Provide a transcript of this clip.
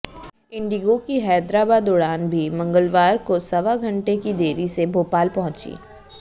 Indigo की हैदराबाद उड़ान भी मंगलवार को सवा घंटे की देरी से भोपाल पहुंचीं